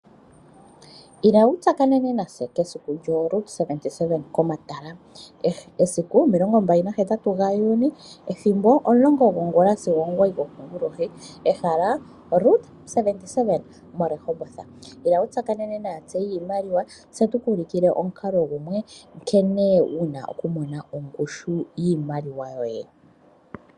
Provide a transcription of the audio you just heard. Ila wu tsakanene natse kesiku lyoRoot 77 komatala esiku omilongo mbali nagahetatu gaJuni ethimbo omulongo gongula sigo omugoyi gokongulohi ehala Root 77 moRehoboth, ila wu tsakanene naatseyi yiimaliwa tse tuku ulukile omukalo gumwe nkene wu na okumona ongushu yiimaliwa yoye.